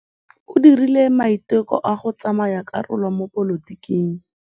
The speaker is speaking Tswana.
O dirile maitekô a go tsaya karolo mo dipolotiking.